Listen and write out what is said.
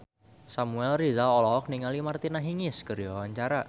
Samuel Rizal olohok ningali Martina Hingis keur diwawancara